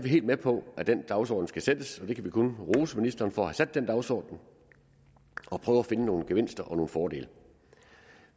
helt med på at den dagsorden skal sættes og vi kan kun rose ministeren for at have sat den dagsorden og prøve at finde nogle gevinster og nogle fordele